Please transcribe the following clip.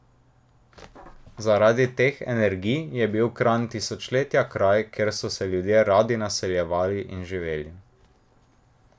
Zaradi teh energij je bil Kranj tisočletja kraj, kjer so se ljudje radi naseljevali in živeli.